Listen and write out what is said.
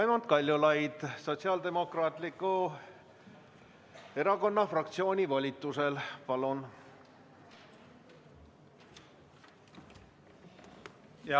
Raimond Kaljulaid Sotsiaaldemokraatliku Erakonna fraktsiooni volitusel, palun!